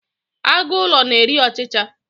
agụ ụlọ na-eri ọchicha